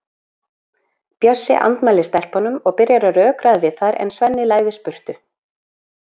Bjössi andmælir stelpunum og byrjar að rökræða við þær en Svenni læðist burtu.